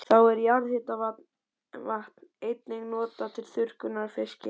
Þá er jarðhitavatn einnig notað til þurrkunar á fiski.